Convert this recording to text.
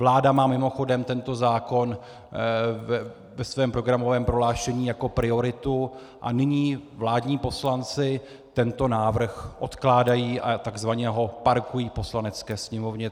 Vláda má mimochodem tento zákon ve svém programovém prohlášení jako priority, a nyní vládní poslanci tento návrh odkládají a tzv. ho parkují v Poslanecké sněmovně.